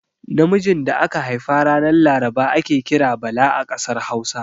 Namijin da aka haifa ranar laraba ake kira Bala a ƙasar Hausa.